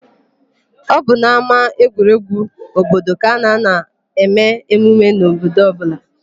Ọ bụ n'ámáegwuregwu obodo ka a na-anọ eme emume n'obodo ọbụla.